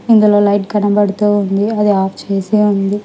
ఇందులో లైట్ కనబడుతూ ఉంది. అది అఫ్ చేసి ఉంది.